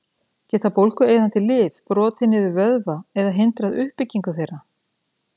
Geta bólgueyðandi lyf brotið niður vöðva eða hindrað uppbyggingu þeirra?